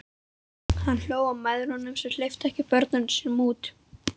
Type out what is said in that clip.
Hann hló að mæðrunum sem ekki hleyptu börnunum sínum út.